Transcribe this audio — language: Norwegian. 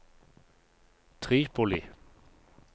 Tripoli